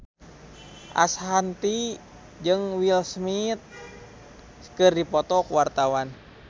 Ashanti jeung Will Smith keur dipoto ku wartawan